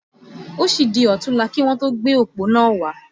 Ó sì di òtúnla kí wọn tó gbé òpó iná wá